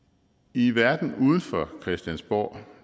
i verden uden for christiansborg